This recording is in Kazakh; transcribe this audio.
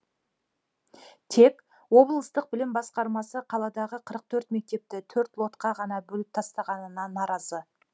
тек облыстық білім басқармасы қаладағы қырық төрт мектепті төрт лотқа ғана бөліп тастағанына наразы